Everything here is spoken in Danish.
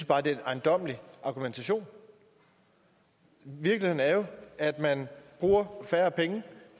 bare det er en ejendommelig argumentation virkeligheden er jo at man bruger færre penge